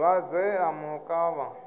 dwadze ḽe ḽa mu kavha